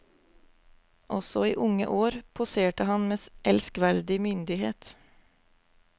Også i unge år poserte han med elskverdig myndighet.